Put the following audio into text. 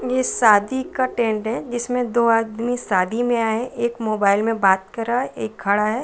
ये शादी का टेंट है जिसमें दो आदमी शादी में आये है एक मोबाइल में बात कर रहा है एक खड़ा है।